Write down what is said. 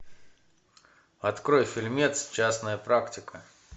открой фильмец частная практика